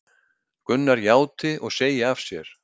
Gunnar játi og segi af sér